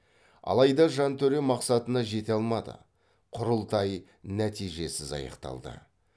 алайда жантөре мақсатына жете алмады құрылтай нәтижесіз аяқталды